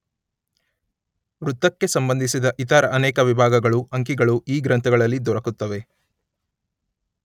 ವೃತ್ತಕ್ಕೆ ಸಂಬಂಧಿಸಿದ ಇತರ ಅನೇಕ ವಿಭಾಗಗಳೂ ಅಂಕಿಗಳೂ ಈ ಗ್ರಂಥಗಳಲ್ಲಿ ದೊರಕುತ್ತವೆ.